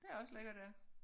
Det er også lækkert ja